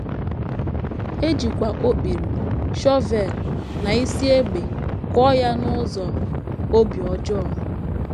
E jikwa okpiri, shọvel, na isi égbè kụọ ya n’ụzọ obi ọjọọ.